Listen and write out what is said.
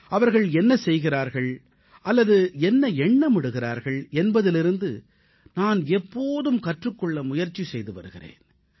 அவர்கள் என்ன செய்கிறார்கள் அல்லது என்ன நினைக்கிறார்கள் என்பதிலிருந்து நான் எப்போதும் கற்றுக் கொள்ள முயற்சி செய்து வருகிறேன்